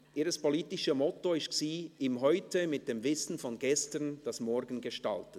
Ihr politisches Moto war: «Im Heute mit dem Wissen von gestern das Morgen gestalten».